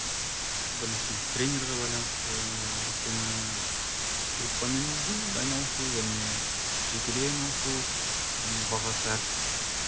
ыыы біріншіден тренерға байланысты өйткені группамен айналысу және жекелей айналысу оның бағасы әртүрлі